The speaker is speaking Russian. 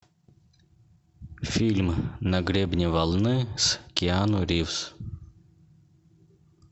фильм на гребне волны с киану ривз